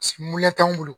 t'anw bolo